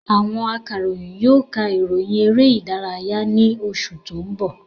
Àwọn aka ìròyìn yóò ka ìròyìn eré ìdárayá ni oṣù tó ń bọ̀